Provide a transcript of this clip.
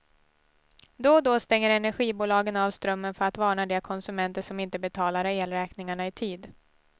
Då och då stänger energibolagen av strömmen för att varna de konsumenter som inte betalar elräkningarna i tid.